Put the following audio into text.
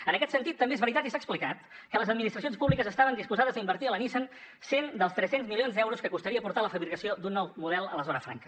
en aquest sentit també és veritat i s’ha explicat que les administracions públiques estaven disposades a invertir a la nissan cent dels tres cents milions d’euros que costaria portar la fabricació d’un nou model a la zona franca